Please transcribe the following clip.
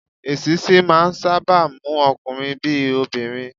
Èṣíṣí máà ń sáábà mú ọkunrin bí i obìnrin.